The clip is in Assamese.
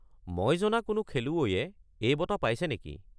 মই জনা কোনো খেলুৱৈয়ে এই বঁটা পাইছে নেকি?